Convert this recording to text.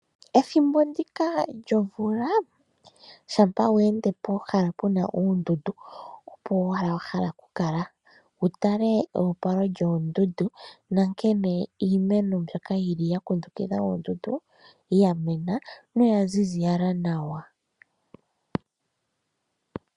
Pethimbo ndjika lyomvula, shampa we ende pehala pu na oondundu opo owala wa hala okukala. Wu tale eopalo lyoondundu nankene iimeno mbyoka yili yakundukidha oondundu yamena noya ziza nawa.